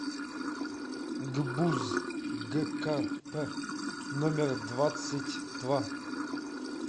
гбуз гкп номер двадцать два